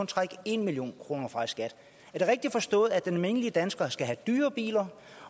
trække en million kroner fra i skat er det rigtig forstået at den almindelige dansker skal have dyrere biler